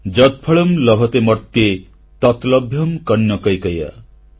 ଯତଫଳଂ ଲଭତେ ମର୍ତ୍ତ୍ୟେ ତତ୍ ଲଭ୍ୟଂ କନ୍ୟକୈକୟା